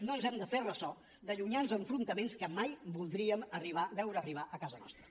no ens hem de fer ressò de llunyans enfrontaments que mai voldríem veure arribar a casa nostra